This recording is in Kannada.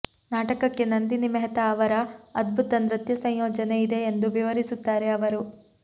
ನಾಟಕಕ್ಕೆ ನಂದಿನಿ ಮೆಹ್ತಾ ಅವರ ಅದ್ಭುತ ನೃತ್ಯ ಸಂಯೋಜನೆ ಇದೆ ಎಂದು ವಿವರಿಸುತ್ತಾರೆ ಅವರು